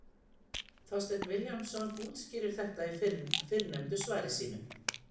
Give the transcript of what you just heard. Þorsteinn Vilhjálmsson útskýrir þetta í fyrrnefndu svari sínu: